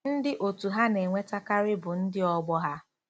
Ndị otu ha na-enwetakarị bụ ndị ọgbọ ha.